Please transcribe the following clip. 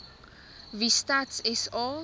wie stats sa